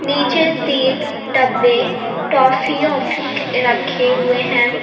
नीचे तीन डब्बे टॉफी ऑफी के रखे हुए हैं।